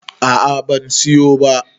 a a ban siyo ba